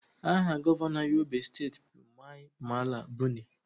Aha Gọvanọ Yobe steeti bụ Mai Mala Buni